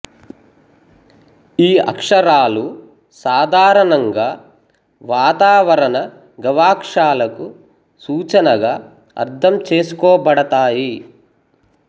ఈ అక్షరాలు సాధారణంగా వాతావరణ గవాక్షాలకు సూచనగా అర్థం చేసుకోబడతాయి